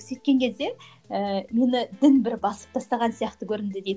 сөйткен кезде ііі мені дін бір басып тастаған сияқты көрінді дейді